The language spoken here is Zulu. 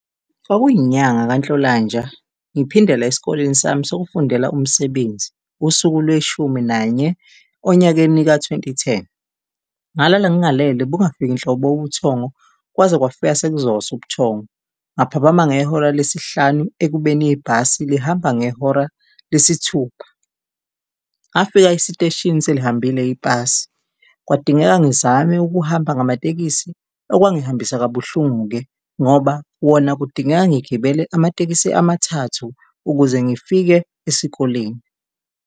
Kwakuyinyanga kaNhlolanja, ngiphindela esikoleni sami sokufundela umsebenzi, usuku lweshumi nanye onyakeni ka-twenty-ten. Ngalala ngingalele, bungafiki nhlobo ubuthongo kwaze kwafika sekuzosa ubuthongo, ngaphaphama ngehora lesihlanu ekubeni ibhasi lihamba ngehora lesithupha. Ngafika esiteshini selihambile ibhasi, kwadingeka ngizame ukuhamba ngamatekisi, okwangihambisa kabuhlungu-ke ngoba wona kudingeka ngigibele amatekisi amathathu ukuze ngifike esikoleni.